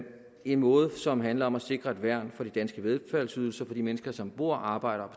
en måde som handler om at sikre et værn for de danske velfærdsydelser for de mennesker som bor arbejder